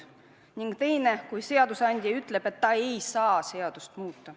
" Teine on see, kui seadusandja ütleb, et ta ei saa seadust muuta.